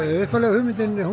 upphaflega hugmyndin